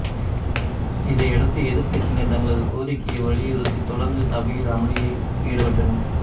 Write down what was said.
இதை அடுத்து எதிர்க்கட்சியினர் தங்களது கோரிக்கையை வலியுறுத்தி தொடர்ந்து சபையில் அமளியில் ஈடுபட்டனர்